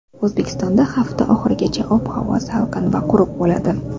O‘zbekistonda hafta oxirigacha ob-havo salqin va quruq bo‘ladi.